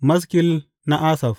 Maskil na Asaf.